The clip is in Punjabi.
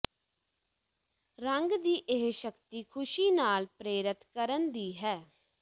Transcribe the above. ਰੰਗ ਦੀ ਇਹ ਸ਼ਕਤੀ ਖੁਸ਼ੀ ਨਾਲ ਪ੍ਰੇਰਤ ਕਰਨ ਦੀ ਹੈ